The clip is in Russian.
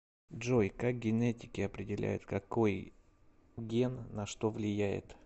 джой как генетики определяют какой ген на что влияет